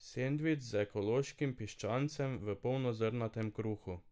Sendvič z ekološkim piščancem v polnozrnatem kruhu.